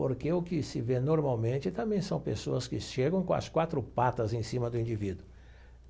Porque o que se vê normalmente também são pessoas que chegam com as quatro patas em cima do indivíduo.